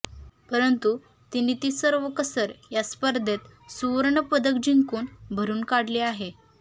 परंतु तिने ती सर्व कसर या स्पर्धेत सुवर्णपदक जिंकून भरून काढली आहे